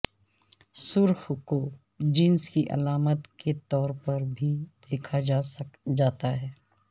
سرخ کو جنس کی علامت کے طور پر بھی دیکھا جاتا ہے